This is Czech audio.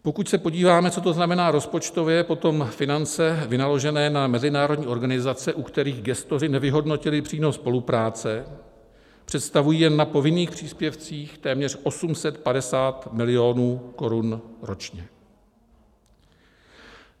Pokud se podíváme, co to znamená rozpočtově, potom finance vynaložené na mezinárodní organizace, u kterých gestoři nevyhodnotili přínos spolupráce, představují jen na povinných příspěvcích téměř 850 mil. korun ročně.